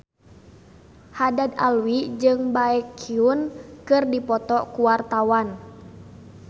Haddad Alwi jeung Baekhyun keur dipoto ku wartawan